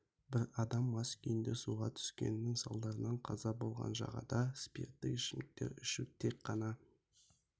бір адам мас күйінде суға түскеннің салдарынан қаза болған жағада спирттік ішімдіктер ішу тек қана